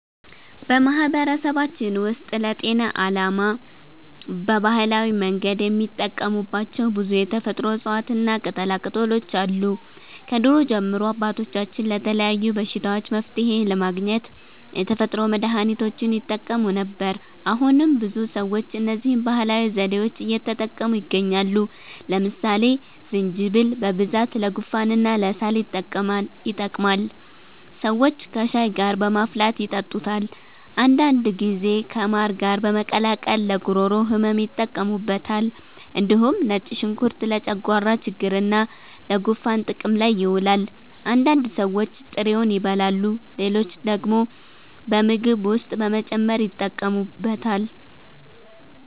በማህበረሰባችን ውስጥ ለጤና ዓላማ በባህላዊ መንገድ የሚጠቀሙባቸው ብዙ የተፈጥሮ እፅዋትና ቅጠላቅጠሎች አሉ። ከድሮ ጀምሮ አባቶቻችን ለተለያዩ በሽታዎች መፍትሔ ለማግኘት የተፈጥሮ መድሀኒቶችን ይጠቀሙ ነበር። አሁንም ብዙ ሰዎች እነዚህን ባህላዊ ዘዴዎች እየተጠቀሙ ይገኛሉ። ለምሳሌ ዝንጅብል በብዛት ለጉንፋንና ለሳል ይጠቅማል። ሰዎች ከሻይ ጋር በማፍላት ይጠጡታል። አንዳንድ ጊዜ ከማር ጋር በመቀላቀል ለጉሮሮ ህመም ይጠቀሙበታል። እንዲሁም ነጭ ሽንኩርት ለጨጓራ ችግርና ለጉንፋን ጥቅም ላይ ይውላል። አንዳንድ ሰዎች ጥሬውን ይበላሉ፣ ሌሎች ደግሞ በምግብ ውስጥ በመጨመር ይጠቀሙበታል።